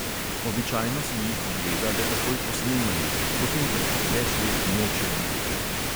Običajno si jih ogleda le takoj po snemanju, potem pa jih več let noče videti.